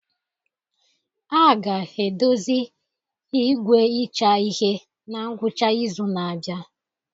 A ga-edozi igwe ịcha ihe na ngwụcha izu na-abịa.